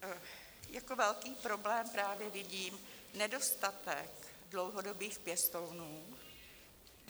Jako velký problém právě vidím nedostatek dlouhodobých pěstounů.